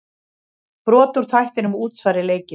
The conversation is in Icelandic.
Brot úr þættinum Útsvari leikið.